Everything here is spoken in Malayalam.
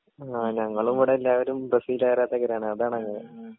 ആ ഞങ്ങളിവിടെ എല്ലാവരും ബ്രസീൽ ആരാധകരാണ് അതാണ്